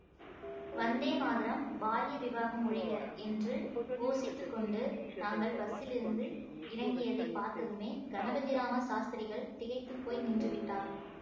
வந்தே மாதரம் பால்ய விவாகம் ஒழிக என்று கோஷித்துக் கொண்டு நாங்கள் பஸ்ஸிலிருந்து இறங்கியதைப் பார்த்ததுமே கணபதிராம சாஸ்திரிகள் திகைத்து போய் நின்று விட்டார்